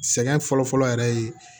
Sɛgɛn fɔlɔfɔlɔ yɛrɛ ye